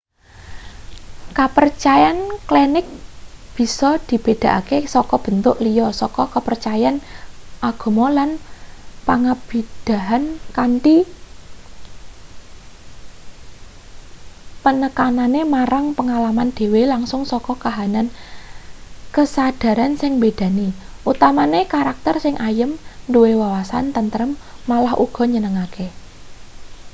kapercayan klenik bisa dibedhakake saka bentuk liya saka kapercayan agama lan pangibadahan kanthi penekanane marang pengalaman dhewe langsung saka kahanan kesadharan sing mbedani utamane karakter sing ayem duwe wawasan tentrem malah uga nyenengake